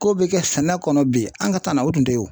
Ko be kɛ sɛnɛ kɔnɔ bi an' ka na o tun te ye o.